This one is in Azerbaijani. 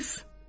Heyf!